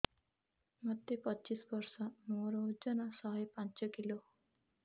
ମୋତେ ପଚିଶି ବର୍ଷ ମୋର ଓଜନ ଶହେ ପାଞ୍ଚ କିଲୋ